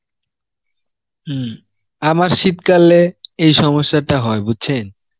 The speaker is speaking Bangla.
হম আমার শীতকালে এই সমস্যাটা হয়, বুঝছেন